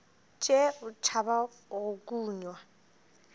tšee o tšhaba go kunywa